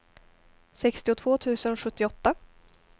sextiotvå tusen sjuttioåtta